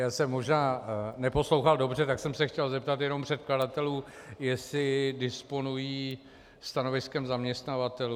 Já jsem možná neposlouchal dobře, tak jsem se chtěl zeptat jenom předkladatelů, jestli disponují stanoviskem zaměstnavatelů.